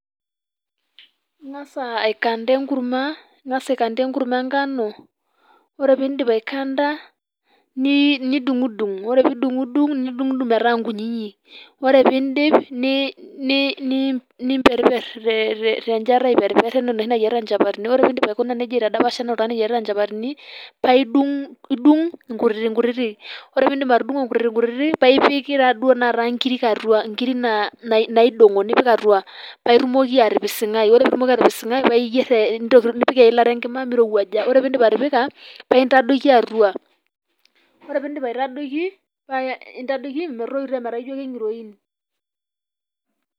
Ing'as aikanta enkurma, ing'as aikanta enkurma enkano, ore pee idip nidung'udung, ore pee idung'udung metaa nkinyinyik nimperriper tenchata aiperriper tencha enaa enoshi nayierita nchapatini .Ore pee idip aikuna neijia aitadapasha enaa oltung'ani oyierita nchapatini. Paa idung inkutitik kutitik. Ore pee idip atudung'o nkutitik kutitik paa ipik naaduo nkirik atua nkirik naidong'o paa ipik atua paa itumoki atipising'ai paa ipik eilata enkima nincho meitootua. Ore pee idip atipika paa intadoiki atua. Ore pee idip aitadoiki niche metoito.